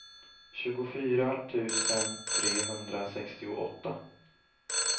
tjugofyra tusen trehundrasextioåtta